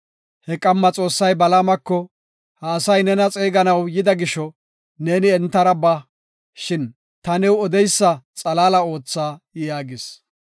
He qamma Xoossay Balaamako, “Ha asay nena xeeganaw yida gisho, neeni entara ba; shin ta new odeysa xalaala ootha” yaagis.